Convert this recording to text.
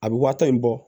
A bɛ waa tan in bɔ